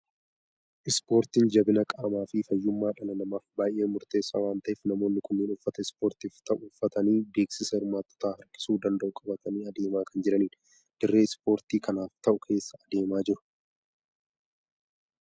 Ispoortiin jabina qaamaa fi fayyummaa dhala namaaf baay'ee murteessaa waan ta'eef, namoonni kunneen uffata ispoortiif ta'u uffatanii, beeksisa hirmaattota harkisuu danda'u qabatanii adeemaa kan jiranidha. Dirree ispoortii kanaaf ta'u keessa adeemaa jiru.